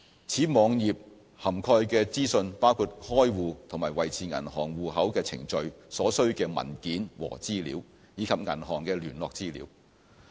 此網頁涵蓋的資訊包括開戶和維持銀行戶口的程序、所需的文件和資料，以及銀行的聯絡資料。